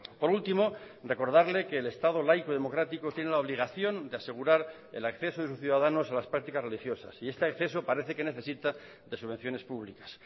por último recordarle que el estado laico democrático tiene la obligación de asegurar el acceso de sus ciudadanos a las prácticas religiosas y este acceso parece que necesita de subvenciones públicas